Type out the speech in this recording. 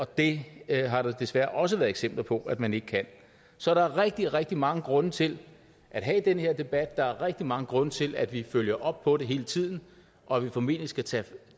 det har der desværre også været eksempler på at man ikke kan så der er rigtig rigtig mange grunde til at have den her debat der er rigtig mange grunde til at vi følger op på det hele tiden og at vi formentlig skal tage